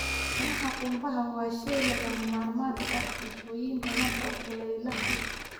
Caanaha qumbaha waa shay lagama maarmaan u ah cuntooyin badan oo kulaylaha ah.